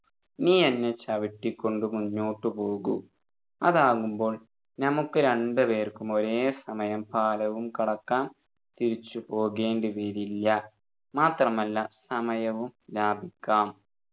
നീ എന്നെ ചവിട്ടികൊണ്ടു മുന്നോട്ടു പോകു അതാകുമ്പോൾ നമ്മുക്കു രണ്ടുപേർക്കും ഒരേ സമയം പാലവും കടക്കാം തിരിച്ചു പോകേണ്ടിവരില്ല മാത്രമല്ല സമയവും ലാഭിക്കാം